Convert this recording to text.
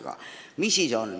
Mis riik me siis oleme?